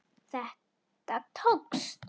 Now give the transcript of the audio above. Þetta tókst.